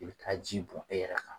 I bɛ taa ji bɔn e yɛrɛ kan